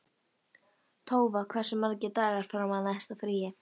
Tófa, hversu margir dagar fram að næsta fríi?